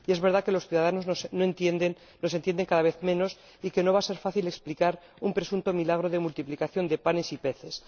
Es verdad que los ciudadanos nos entienden cada vez menos y que no va a ser fácil explicar un presunto milagro de multiplicación de panes y peces.